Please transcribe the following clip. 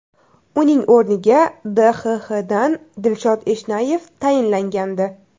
Uning o‘rniga DXXdan Dilshod Eshnayev tayinlangandi .